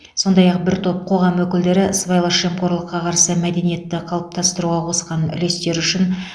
сондай ақ бір топ қоғам өкілдері сыбайлас жемқорлыққа қарсы мәдениетті қалыптастыруға қосқан үлестері үшін